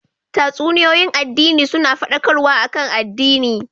Tatsuniyoyin addini suna fadakarwa akan addini